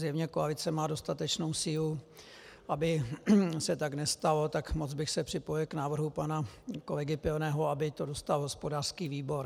Zjevně koalice má dostatečnou sílu, aby se tak nestalo, tak moc bych se připojil k návrhu pana kolegy Pilného, aby to dostal hospodářský výbor.